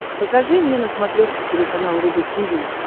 покажи мне на смотрешке телеканал рубль ти ви